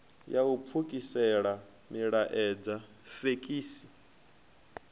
ya u pfukisela milaedza fekisi